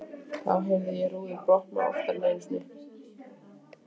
Þá heyrði ég rúður brotna, oftar en einu sinni.